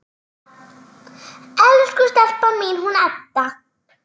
Elsku stelpan mín, hún Edda!